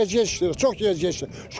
Gec gecikdirir, çox gecikdirir.